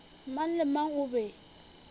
mang le mang o be